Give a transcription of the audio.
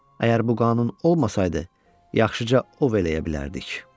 Əgər bu qanun olmasaydı, yaxşıca ov eləyə bilərdik.